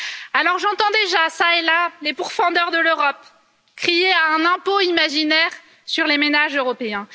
Alors j'entends déjà, çà et là, les pourfendeurs de l'Europe crier à un impôt imaginaire sur les ménages européens.